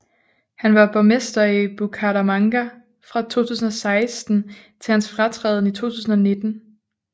Han var borgmester i Bucaramanga fra 2016 til hans fratræden i 2019